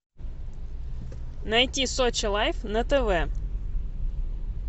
найти сочи лайф на тв